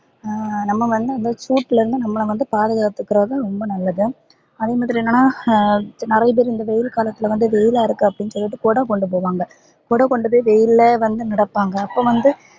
அஹ் நம்ப வந்து அந்த சூட்ல இருந்து நம்பள வந்து பாதுகாத்துகறது ரொம்ப நல்லது அதே மாதிரி என்னனா நிறைய பேரு இந்த வெயில் காலத்துல வந்து வெயிலா இருக்கு அப்டின்னு சொல்லிட்டு கொடக்கொண்டு போவாங் கொட கொண்டு போய் வெயில வந்து நடபாங்க அப்ப வந்து